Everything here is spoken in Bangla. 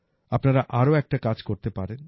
আপনারা আরো একটা কাজ করতে পারেন